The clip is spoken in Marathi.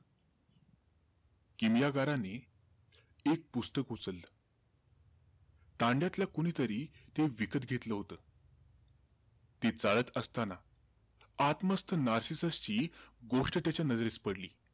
किमयागाराने एक पुस्तक उचललं. तांड्यातल्या कुणीतरी ते विकत घेतलं होतं. ते चाळत असताना, आत मस्त नार्सिससची गोष्ट त्याच्या नजरेस पडली.